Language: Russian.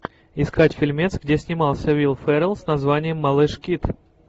искать фильмец где снимался уилл феррелл с названием малыш кид